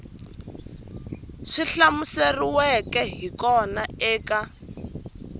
swi hlamuseriweke hi kona eka